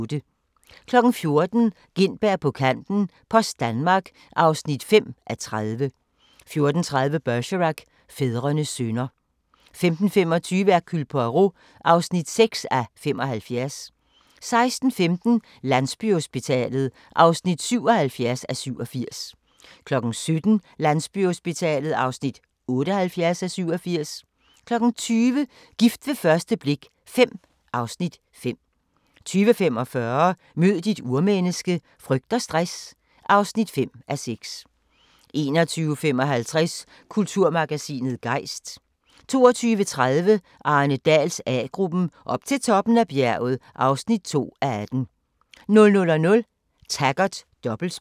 14:00: Gintberg på kanten - Post Danmark (5:30) 14:30: Bergerac: Fædrenes synder 15:25: Hercule Poirot (6:75) 16:15: Landsbyhospitalet (77:87) 17:00: Landsbyhospitalet (78:87) 20:00: Gift ved første blik V (Afs. 5) 20:45: Mød dit urmenneske - frygt og stress (5:6) 21:55: Kulturmagasinet Gejst 22:30: Arne Dahls A-gruppen: Op til toppen af bjerget (2:18) 00:00: Taggart: Dobbeltspil